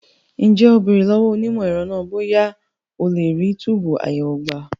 Ǹjẹ́ o béèrè lọ́wọ́ onímọ̀ ẹ̀rọ náà bóyá a lè rí túbùù àyẹ̀wò gbà?